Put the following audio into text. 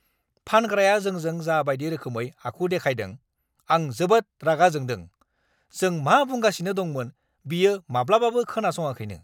फानग्राया जोंजों जा बायदि रोखोमै आखु देखायदों, आं जोबोद रागा जोंदों, जों मा बुंगासिनो दंमोन बियो माब्लाबाबो खोनासङाखैनो।